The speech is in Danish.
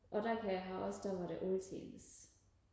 og der kan jeg huske der var det altid